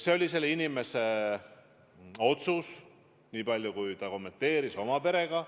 See oli selle inimese otsus, nii palju kui ta kommenteeris seda oma perega.